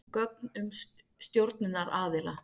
Gögn um stjórnunaraðila.